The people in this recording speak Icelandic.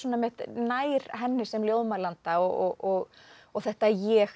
nær henni sem ljóðmælanda og þetta ég